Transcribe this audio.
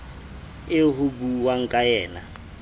eo ho buuwang ka yena